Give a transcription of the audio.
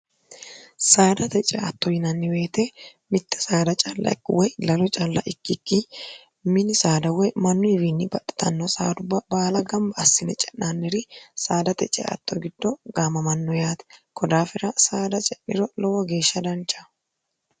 saadate ceatto yinanniweete mitte saada callaikki woy lalu calla ikkikki mini saada woy mannu iwiinni baditanno saarubba baala gamba assine ce'naanniri saadate ceatto giddo gaamamanno yaati kodaafira saada ce'miro lowo geeshsha danchaho